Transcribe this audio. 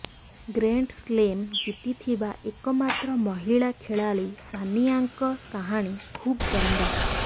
Grande slam ଜିତିଥିବା ଏକମାତ୍ର ମହିଳା ଖେଳାଳୀ ସାନିଆଙ୍କ କାହାଣୀ ଖୁବ୍ ଦମଦାର